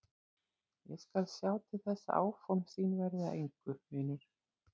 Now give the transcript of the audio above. Ég skal sjá til þess að áform þín verði að engu, vinur!